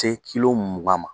Te mugan ma